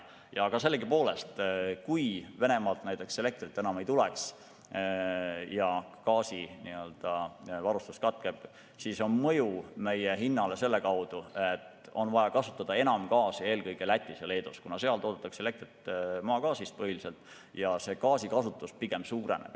Aga sellegipoolest, kui Venemaalt elektrit enam ei tule ja gaasivarustus katkeb, siis on mõju meie hinnale selle kaudu, et on vaja kasutada enam gaasi eelkõige Lätis ja Leedus, kuna seal toodetakse elektrit põhiliselt maagaasist ja see gaasikasutus pigem suureneb.